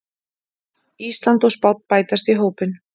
Ísland og Spánn bætast í hópinn